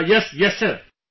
Yes...Yes Sir